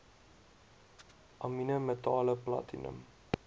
amiene metale platinum